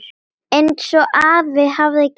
Einsog afi hafði kennt honum.